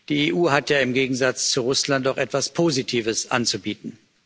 Die EU hat ja im Gegensatz zu Russland auch etwas Positives anzubieten.